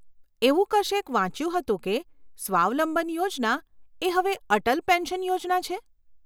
એવું કશેક વાંચ્યું હતું કે સ્વાવલંબન યોજના એ હવે અટલ પેન્શન યોજના છે?